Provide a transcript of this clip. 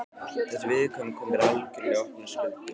Þessi viðkvæmni kom mér algjörlega í opna skjöldu.